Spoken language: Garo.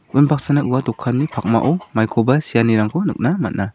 unbaksana ua dokanni pakmao maikoba seanirangko nikna man·a.